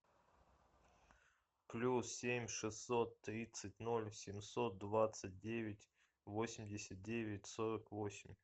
плюс семь шестьсот тридцать ноль семьсот двадцать девять восемьдесят девять сорок восемь